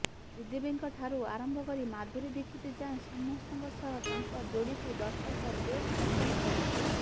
ଶ୍ରୀଦେବୀଙ୍କଠାରୁ ଆରମ୍ଭ କରି ମାଧୁରୀ ଦିକ୍ଷିତ ଯାଏଁ ସମସ୍ତଙ୍କ ସହ ତାଙ୍କ ଯୋଡିକୁ ଦର୍ଶକ ବେଶ୍ ପସନ୍ଦ କରୁଥିଲେ